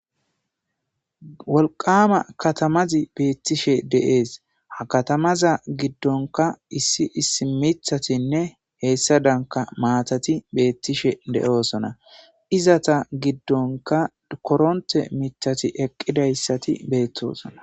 wolqama katamazi beettishe deees ha katamaza giddonka issi issi mithatinne heessa danka maatati beettishe de7oosona izata giddonka koronte mithati eqqidayssati beettoosona